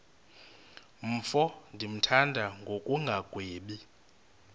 mfo ndimthanda ngokungagwebi